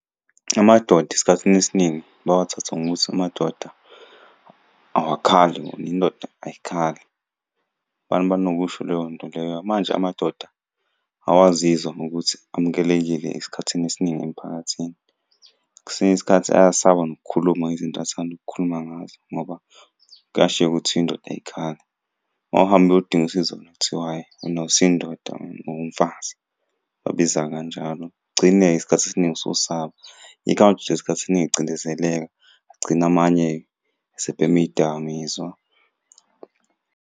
Amadoda esikhathini esiningi bawathatha ngokuthi amadoda awukhali ngoba indoda ayikhali. Abantu banokusho leyo nto leyo manje amadoda awaziwa ngokuthi amukelekile esikhathini esiningi emphakathini. Kwesinye isikhathi ayasaba nokukhuluma ngezinto athanda ukukhuluma ngazo ngoba kuyashiwo ukuthi indoda ayikhali. Uma uhambe uyodinga usizo kuthiwa hhayi, wena awusiyo indoda ungumfazi. Bakubiza kanjalo, ugcine isikhathi esiningi ususaba. Yikho amadoda isikhathi esiningi ecindezeleka agcine amanye esebhema iy'dakamizwa.